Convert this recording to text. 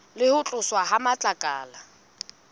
le ho tloswa ha matlakala